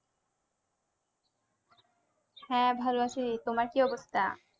হ্যাঁ ভালো আছি তোমার কি অবস্থা?